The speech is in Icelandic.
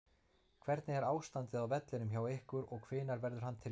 Hvernig er ástandið á vellinum hjá ykkur og hvenær verður hann tilbúinn?